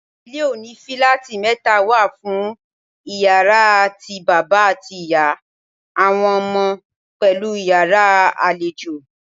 Ilé oní fíláátì mẹ́ta wà fún Ìyàrá ti bàbá àti ìyá, àwọn ọmọ, pẹ̀lú Ìyàrá àlejò.